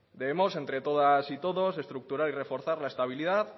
debemos entre todas y todos estructurar y reforzar la estabilidad